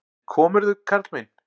En komirðu, karl minn!